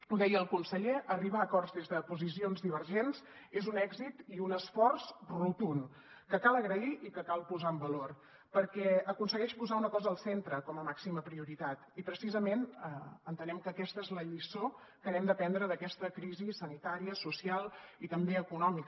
ho deia el conseller arribar a acords des de posicions divergents és un èxit i un esforç rotund que cal agrair i que cal posar en valor perquè aconsegueix posar una cosa al centre com a màxima prioritat i precisament entenem que aquesta és la lliçó que hem d’aprendre d’aquesta crisi sanitària social i també econòmica